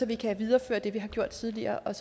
vi kan videreføre det vi har gjort tidligere og